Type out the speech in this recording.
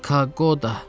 Kagoda.